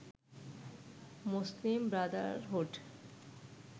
Muslim Brotherhood